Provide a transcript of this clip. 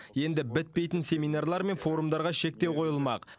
енді бітпейтін семинарлар мен форумдарға шектеу қойылмақ